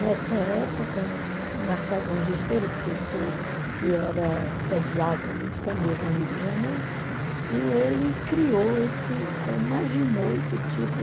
Nessa época, o Martagão Gesteira, o professor que era pediatra muito famoso no Rio de Janeiro, e ele criou esse, imaginou esse tipo